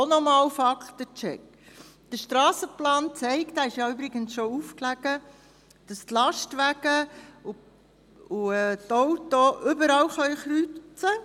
Auch hier ein Faktencheck: Der Strassenplan, der übrigens schon aufgelegen hat, zeigt, dass die Lastwagen und die Autos überall kreuzen können.